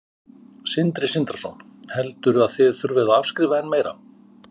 Sindri Sindrason: Heldur að þið þurfið að afskrifa enn meira?